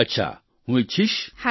અચ્છા હું ઈચ્છીશ